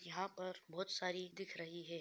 यहाँ पर बहुत सारी देख रही है